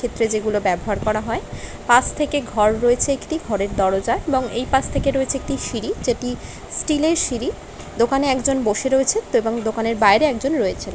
চিত্রে যেগুলো ব্যবহার করা হয় | পাশ থেকে ঘর রয়েছে একটি | ঘরের দরজা এবং এই পাশ থেকে রয়েছে একটি সিঁড়ি | যেটি স্টিলের সিঁড়ি | দোকানে একজন বসে রয়েছে এবং দোকানের বাইরে একজন রয়েছেন।